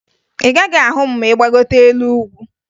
Ị gaghị ahụ m ma ị gbagote elu ugwu